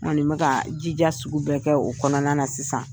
N kɔni bɛ ka jija sugu bɛ kɛ o kɔnɔna na sisan.